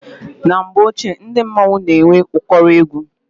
Na mgbe ochie ndị mmọnwụ na-enwe ụkọrọ egwu.